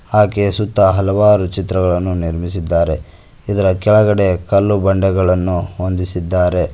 ಹಾಗೆ ಸುತ್ತ ಹಲವಾರು ಚಿತ್ರಗಳನ್ನು ನಿರ್ಮಿಸಿದ್ದಾರೆ ಇದರ ಕೆಳಗಡೆ ಕಲ್ಲು ಬಂಡೆಗಳನ್ನು ಹೊಂದಿಸಿದ್ದಾರೆ.